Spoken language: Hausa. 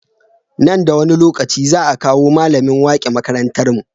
Nan da wani lokaci za a kawo mallamin wake makarantar mu